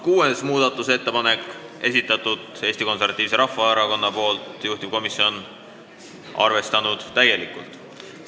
Kuuenda muudatusettepaneku on esitanud Eesti Konservatiivse Rahvaerakonna fraktsioon, juhtivkomisjon on täielikult arvestanud.